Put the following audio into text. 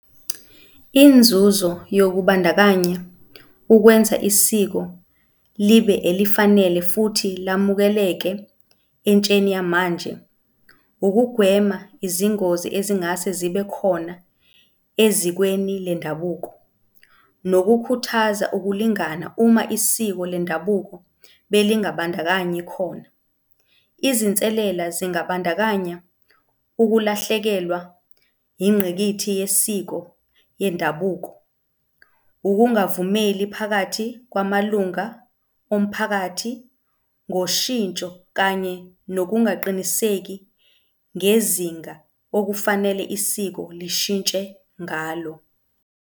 Inzuzo yokubandakanya ukwenza isiko libe elifanele futhi lamukeleke entsheni yamanje ukugwema izingozi ezingase zibe khona ezikweni lwendabuko, nokukhuthaza ukulingana uma isiko lendabuko belingabandakanyi khona. Izinselela zingabandakanya ukulahlekelwa ingqikithi yesiko yendabuko, ukungavumeli phakathi kwamalunga omphakathi ngoshintsho kanye nokungaqiniseki ngezinga okufanele isiko lishintshe ngalo.